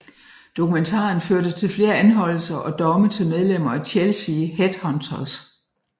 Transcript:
Dokumentaren førte til flere anholdelser og domme til medlemmer af Chelsea Headhunters